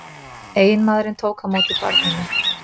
Eiginmaðurinn tók á móti barninu